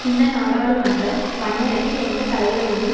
இந்த நாடாளுமன்றம் மன்னருக்கு எந்த தலைவலியையும்